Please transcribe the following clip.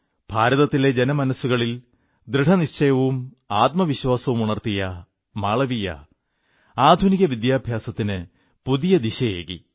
ഭാരതത്തിലെ ജനമനസ്സുകളിൽ ദൃഢനിശ്ചയവും ആത്മവിശ്വാസവും ഉണർത്തിയ മാളവീയ ആധുനിക വിദ്യാഭ്യാസത്തിന് പുതിയ ദിശയേകി